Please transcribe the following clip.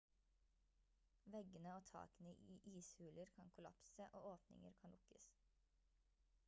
veggene og takene i ishuler kan kollapse og åpninger kan lukkes